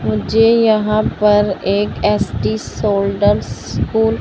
मुझे यहां पर एक एस_टी शोल्डल स्कूल --